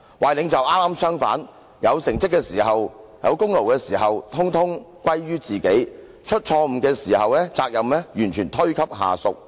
壞領袖可剛好相反：有成績時功勞統統歸於自己，出錯誤時責任完全推給下屬。